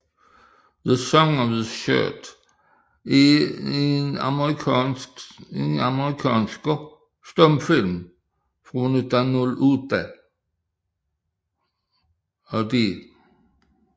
The Song of the Shirt er en amerikansk stumfilm fra 1908 af D